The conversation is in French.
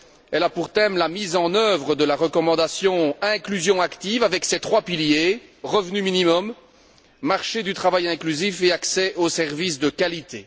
Elle a pour thème la mise en œuvre de la recommandation relative à l'inclusion active avec ses trois piliers revenu minimum, marché du travail inclusif et accès aux services de qualité.